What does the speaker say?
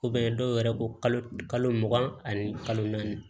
dɔw yɛrɛ ko kalo mugan ani kalo naani